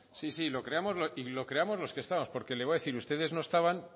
sí sí lo creamos los que estamos porque le voy a decir ustedes no estaban